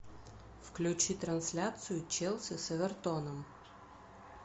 включи трансляцию челси с эвертоном